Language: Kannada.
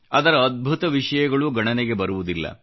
ಅದರ ಅದ್ಭುತ ವಿಷಯಗಳೂ ಗಣನೆಗೆ ಬರುವುದಿಲ್ಲ